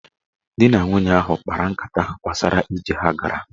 Dị na nwunye ahụ kpara nkata gbasara ijem ha gara.